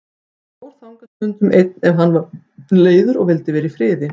Hann fór þangað stundum einn ef hann var leiður og vildi vera í friði.